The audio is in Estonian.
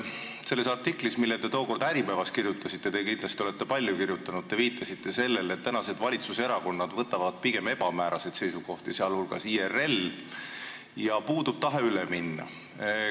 Selles artiklis, mille te tookord Äripäevas kirjutasite – te olete kindlasti palju kirjutanud –, te viitasite sellele, et tänased valitsuserakonnad võtavad pigem ebamääraseid seisukohti, sh IRL, ja puudub tahe üle minna.